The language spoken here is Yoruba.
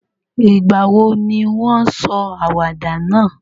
Ìgbàwo ni won sọ àwàdà náà?